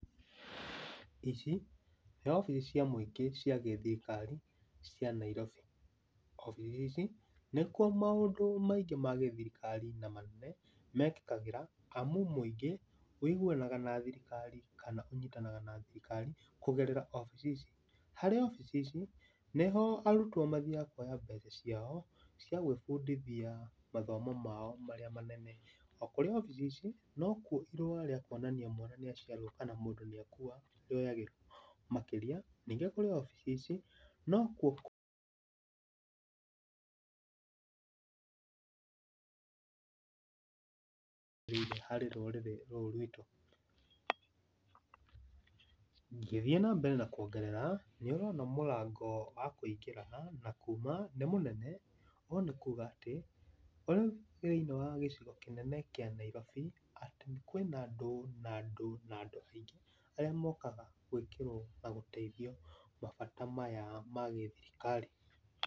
Ici nĩ obici cia mũingĩ cia gĩthirikari cia Nairobi. Obici ici nĩkuo maũndũ maingĩ ma gĩthirikari na manene mekĩkagĩra amu mũingĩ ũiguanaga na thirikari kana ũnyitanaga na thirikari kũgerera ofici ici. Harĩ obici ici, nĩho arutwo mathiaga kwoya mbeca caio cia gwĩbundithia mathomo mao maria manene. Okũrĩ obici ici nokua irũa rĩa kuonania mwana nĩ aciarwao kana mũndũ nĩakua rĩoyagĩrwo. Makĩria ningĩ o kũrĩ obici ici nokuo kũ... harĩ rũrĩrĩ rũrũ ruitũ. Ngĩthiĩ nambere na kuongerera nĩũrona mũrango wa kũingĩra haha na kũũma nĩ mũnene, ũũ nĩ kũũga atĩ ũrĩ thĩĩnĩ wa gicigo-inĩ kĩnene kĩa Nairobi atĩ kwĩna andũ na andũ na andũ aingĩ arĩa mokaga gwĩkĩrwo na gũteithio mabata maya ma gĩthirikari.